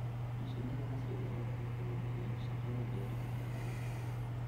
Mashiinada casriga ah waxay fududeeyaan shaqada beeraha ee adag.